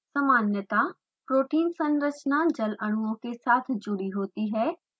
सामान्यतः protein संरचना जल अणुओं के साथ जुड़ी होती है